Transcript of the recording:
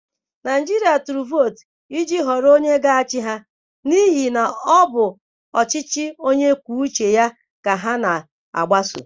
Naịjirịa tụrụ vootu iji họrọ onye ga-achị ha n'ihi na ọ bụ ọchịchị Onye kwuo uche ya ka ha na-agbaso.